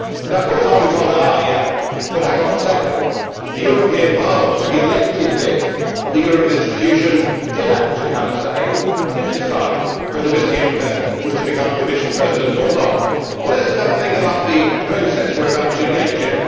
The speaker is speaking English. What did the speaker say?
Of course, I will be told ah yes, but hang on a second, the European Parliament, the elected bit of the European institutions, did actually have a say and did decide whether Mr Juncker was to become Commission President or not'. Well, let us just have a think about the process we are about to engage in.